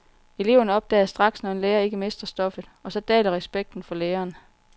Eleverne opdager straks, når en lærer ikke mestrer stoffet, og så daler respekten for læreren.